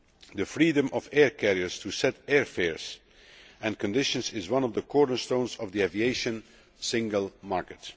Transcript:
The freedom of air carriers to set airfares and conditions is one of the cornerstones of the aviation single market.